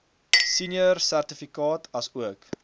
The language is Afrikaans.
senior sertifikaat asook